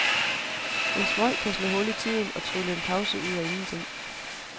En smøg kan slå hul i tiden og trylle en pause ud af ingenting.